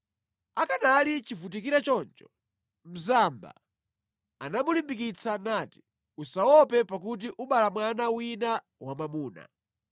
Akanali chivutikire choncho, mzamba anamulimbikitsa nati, “Usaope pakuti ubala mwana wina wamwamuna.”